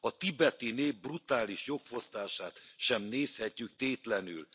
A tibeti nép brutális jogfosztását sem nézhetjük tétlenül.